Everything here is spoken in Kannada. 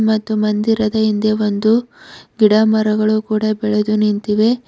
ಮತ್ತು ಮಂದಿರದ ಹಿಂದೆ ಒಂದು ಗಿಡ ಮರಗಳು ಕೂಡ ಬೆಳೆದು ನಿಂತಿವೆ.